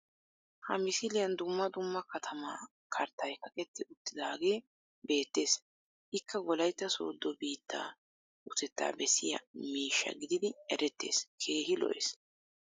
ha misiliyan dumma dumma katamaa karttay kaqetti utaagee beetees. ikka wolaytta soodo biittaa utettaa bessiya miishshaa gididdi eretees. keehi lo'es.